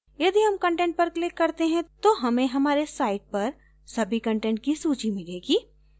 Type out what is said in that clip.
यदि हम content पर click करते हैं तो हमें हमारे site पर सभी कंटेंट की सूची मिलेगी